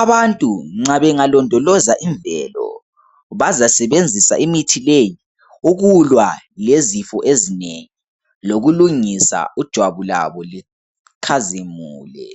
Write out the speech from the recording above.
Abantu nxa bengalondoloza imvelo bazasebenzisa imithi leyi ukulwa lezifo ezinengi, lokulungisa ijwabu labo likhazimule.